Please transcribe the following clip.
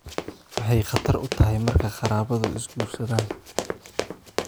Maxay khatar u tahay marka qaraabadu is guursadaan?